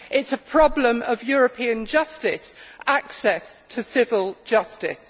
It is a problem of European justice, access to civil justice.